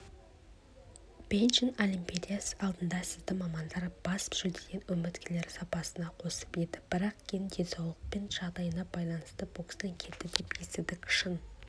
бейжің олимпиадасы алдында сізді мамандар бас жүлдеден үміткерлер сапына қосып еді бірақ кейін денсаулық жағдайына байланысты бокстан кетті деп естідік шын